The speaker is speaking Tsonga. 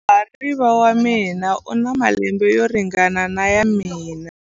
Muhariva wa mina u na malembe yo ringana na ya mina.